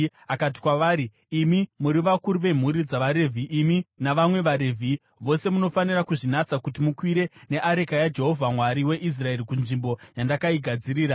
Akati kwavari, “Imi muri vakuru vemhuri dzavaRevhi, imi navamwe vaRevhi vose munofanira kuzvinatsa kuti mukwire neareka yaJehovha Mwari weIsraeri kunzvimbo yandakaigadzirira.